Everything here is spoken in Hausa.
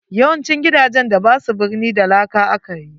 YAwancin gidajen da basu birni da laka akayi.